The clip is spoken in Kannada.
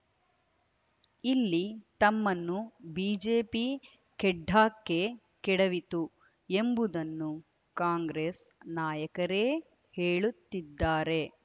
ಇಲ್ಲಿ ತಮ್ಮನ್ನು ಬಿಜೆಪಿ ಖೆಡ್ಡಾಕ್ಕೆ ಕೆಡವಿತು ಎಂಬುದನ್ನು ಕಾಂಗ್ರೆಸ್ ನಾಯಕರೇ ಹೇಳುತ್ತಿದ್ದಾರೆ